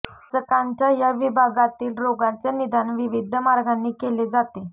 पाचकांच्या या विभागातील रोगांचे निदान विविध मार्गांनी केले जाते